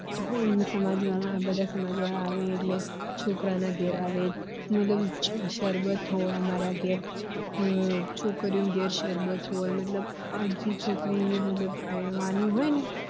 અમુક સમાજ વાળા આ બધા સમાજ વાળા આવે એટલે છોકરા ના ઘર આવે મતલબ શરબત હોય અમારા ઘર છોકરી ઓ ના ઘર શરબત હોય મતલબ આ જે છોકરી પરણવાની હોય